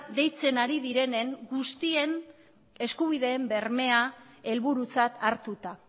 deitzen ari direnen guztien eskubideen bermea helburutzat hartuta